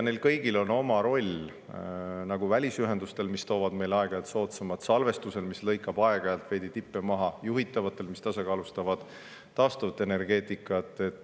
Neil kõigil on oma roll: välisühendustel, mis toovad meile aeg-ajalt soodsamad; salvestusel, mis lõikab aeg-ajalt veidi tippe maha; juhitavatel, mis tasakaalustavad taastuvat energeetikat.